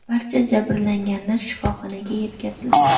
Barcha jabrlanganlar shifoxonaga yetkazildi.